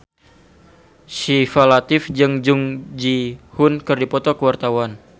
Syifa Latief jeung Jung Ji Hoon keur dipoto ku wartawan